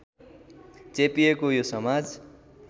चेपिएको यो समाज